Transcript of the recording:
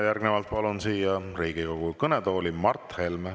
Järgnevalt palun siia Riigikogu kõnetooli Mart Helme.